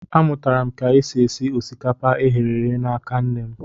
A mụtara m ka esi e si osikapa e ghere eghe n'aka nne m.